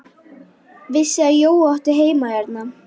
Vissi að Jói átti heima hérna.